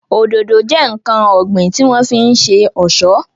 Òdòdó jẹ́ ǹkan ọ̀gbìn tí wọ́n fi ń ṣe ọ̀ṣọ́